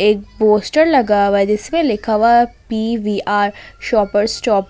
एक पोस्टर लगा हुआ है जिसमें लिखा हुआ है पी_वी_आर शॉपर्स स्टॉप --